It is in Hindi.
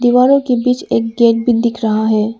दीवारों के बीच एक गेट भी दिख रहा है।